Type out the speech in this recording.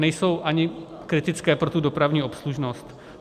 Nejsou ani kritické pro tu dopravní obslužnost.